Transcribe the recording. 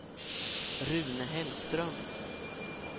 Rune Hellström